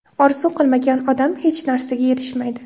Orzu qilmagan odam hech narsaga erishmaydi.